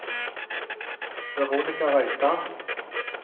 Veronika Reitan